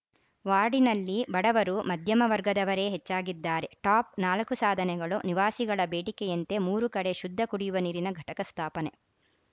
ವಾರ್ಡಿನಲ್ಲಿ ಬಡವರು ಮಧ್ಯಮ ವರ್ಗದವರೇ ಹೆಚ್ಚಾಗಿದ್ದಾರೆ ಟಾಪ್‌ ನಾಲ್ಕು ಸಾಧನೆಗಳು ನಿವಾಸಿಗಳ ಬೇಡಿಕೆಯಂತೆ ಮೂರು ಕಡೆ ಶುದ್ಧ ಕುಡಿಯುವ ನೀರಿನ ಘಟಕ ಸ್ಥಾಪನೆ